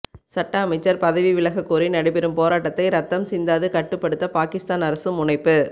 சட்ட அமைச்சர் பதவி விலக கோரி நடைபெறும் போராட்டத்தை இரத்தம் சிந்தாது கட்டுப்படுத்த பாகிஸ்தான் அரசு முனைப்பு